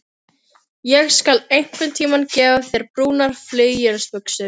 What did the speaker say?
Ég skal einhverntíma gefa þér brúnar flauelsbuxur.